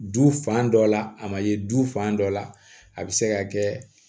Du fan dɔ la a ma ye du fan dɔ la a bɛ se ka kɛ